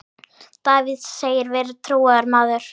Davíð segist vera trúaður maður.